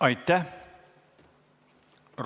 Aitäh!